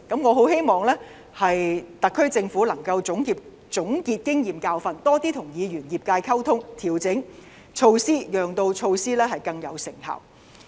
我希望特區政府能夠總結經驗和教訓，多些跟議員和業界溝通，調整措施，讓措施更有成效。